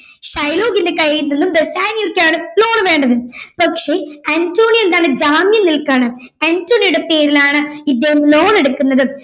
ഷൈലോക്കിന്റെ കയ്യിൽ നിന്നും ബെസ്സനിയോക്കാണ് loan വേണ്ടത് പക്ഷേ അന്റോണിയോ എന്താണ് ജാമ്യം നിൽക്കാണ് അന്റോണിയോയുടെ പേരിലാണ് ഇദ്ദേഹം loan എടുക്കുന്നത്